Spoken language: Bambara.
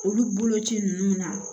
Olu boloci ninnu na